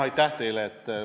Aitäh teile!